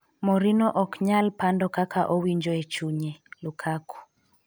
Morino ok nyal pando kaka owinjo e chunye -Lukaku